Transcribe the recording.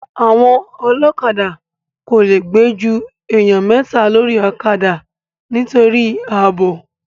Àwọn ọlọ́kadà kò le gbé ju èèyàn mẹ́ta lórí ọ̀kadà nítorí ààbò